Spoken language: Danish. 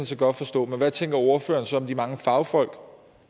set godt forstå men hvad tænker ordføreren så om de mange fagfolk